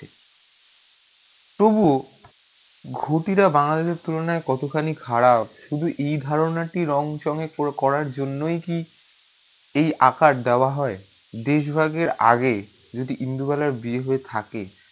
তবুও ঘুটি রা বাংলাদেশে তুলুনা কত খানি খারাপ শুধু এই ধারণা টি রং চঙ্গে করা জন্যই কি এই আকার দেওয়া হয় দেশ ভাগের আগে যদি ইনদুবালার বিয়ে হয়ে থাকে